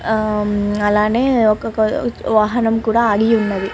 ఆ అలానే ఒక కో వాహనం కూడా ఆగి ఉన్నది.